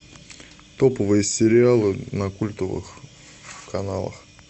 топовые сериалы на культовых каналах